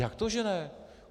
Jak to že ne?